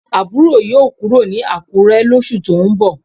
Aburo yoo kuro ni Akure losu to n bo